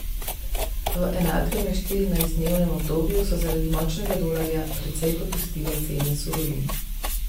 V enakem štirinajstdnevnem obdobju so zaradi močnega dolarja precej popustile cene surovin.